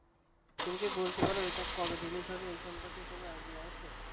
তুমি কি বলতে পার এইটা কবে Release হবে? এই সম্পর্কে কোন Idea আছে।